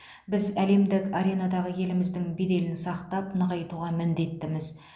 біз әлемдік аренадағы еліміздің беделін сақтап нығайтуға міндеттіміз